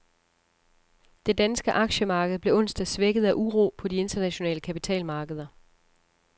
Det danske aktiemarked blev onsdag svækket af uro på de internationale kapitalmarkeder.